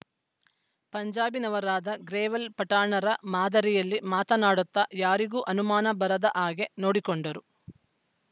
ಪಂಜಾಬಿನವರಾದ ಗ್ರೇವಾಲ್‌ ಪಠಾಣರ ಮಾದರಿಯಲ್ಲಿ ಮಾತನಾಡುತ್ತ ಯಾರಿಗೂ ಅನುಮಾನ ಬರದ ಹಾಗೆ ನೋಡಿಕೊಂಡರು